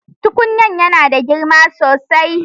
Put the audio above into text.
Tukunyar tana da girma sosai.